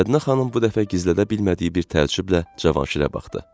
Mədinə xanım bu dəfə gizlədə bilmədiyi bir təəccüblə Cavanşirə baxdı.